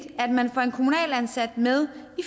at man får en kommunalt ansat med